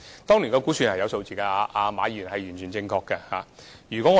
當年是有估算數字的，馬議員完全正確。